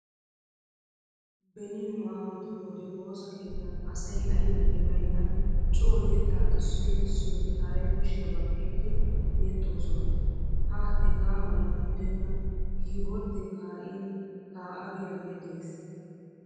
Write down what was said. Beni nu aawatu wode woosa keettan asay aybinne baynnan coo yettaa issoy kessiyode haray kushiya baqqiiddi yexxoosona. Ha hega mala gidenna kiiborddee kaa'in kaa'a giyagee dees.